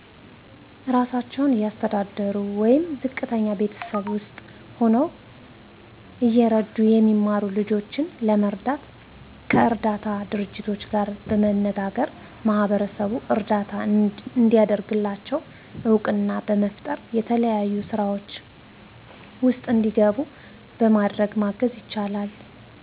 አራሳቸውን እያስተዳደሩ ወይም ዝቀተኛ ቤተሰብ ውስጥ ሁነው እየረዱ የሚማሩ ልጆችን ለመርዳት ከእርዳታ ድርጅቶች ጋር በመነጋገር ማሕበረሰቡን እርዳታ እንዲያደርግላቸው እውቅና በመፍጠር የተለያዩ ስራዎች ውስጥ እንዲገቡ በማድረግ ማገዝ ይቻላል።